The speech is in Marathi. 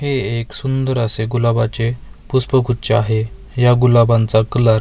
हे एक सुंदर असे गुलाबाचे पुष्पगुच्छ आहे या गुलाबांचा कलर --